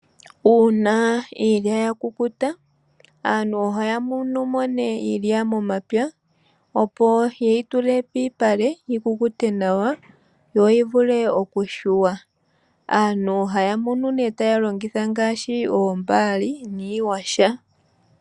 Uuna iilya yakukuta aantu ohaya munu mo nee iilya momapya, opo yeyi tule piipale yikukute nawa yoyi vule okuyungulwa. Aantu ohaya munu nee taya longitha ngaashi oombali niiyaha.